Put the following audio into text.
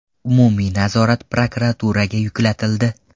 Umumiy nazorat prokuraturaga yuklatildi.